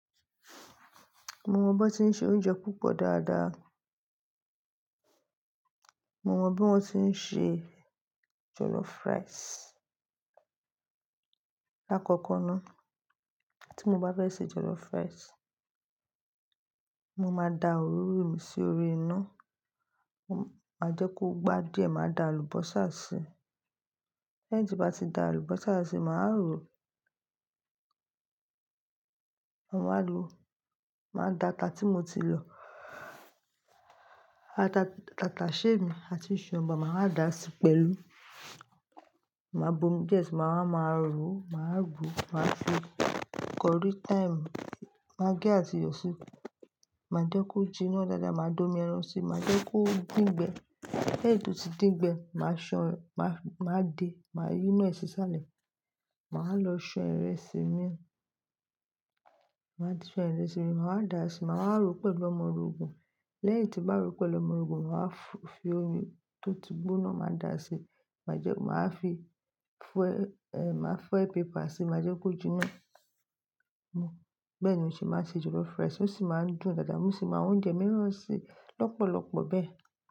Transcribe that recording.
Mo mọ bí wọ́n ṣe ń se oúnjẹ púpọ̀ dáadáa. Mo mọ bí wọ́n ṣe ń se jollof rice. Láàkọ́kọ́ ná, tí mo bá fẹ́ se jollof rice, mo máa da òróró mi sí orí iná, máa jẹ́ kó gbá díẹ̀, màá da àlùbọ́sà sí i. Lẹ́yìn tí bá ti da àlùbọ́sà sí i, màá rò ó, màá wá lo Màá da ata tí mo ti lọ, Tataṣẹ́ mi àti sọ̀ǹbà, màá dà á sí pẹ̀lú. Màá buomi díè sí i, màá wá máa ro, màá wí, màá fi curry, thyme, maggi àti iyọ̀ sí i. Màá jẹ́ kó jiná dáadáa, màá dómi ẹran sí i, màá jẹ́ kó dín gbẹ. Lẹ́yìn tí ó bá ti din gbẹ, màá ṣan, màá de, màá yí iná sí ìsàlẹ̀. Màá lọ ṣan ìrẹsì mi, màá fi ṣan ìrẹsì mi, màá dà á sí, màá ro pẹ̀lú ọmọ orogùn. Lẹ́yìn tí bá ro pẹ̀lú ọmọ orogun, màá fi omi tó ti gbóná, màá dà á sí. Màá jẹ́, màá fi foil, eh, màá foil paper sí i, màá jẹ́ kó jiná mu. Bẹ́ẹ̀ ni o ṣe máa ń ṣe jollof rice. Ó sì máa ń dùn dáadáa, mo sì máa ń ṣe oúnjẹ mìíràn lọ́pọ̀lọpọ̀ bẹ́ẹ̀